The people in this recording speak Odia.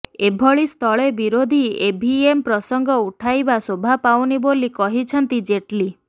ଏଭଳି ସ୍ଥଳେ ବିରୋଧୀ ଇଭିଏମ ପ୍ରସଙ୍ଗ ଉଠାଇବା ଶୋଭାପାଉନି ବୋଲି କହିଛନ୍ତି ଜେଟଲୀ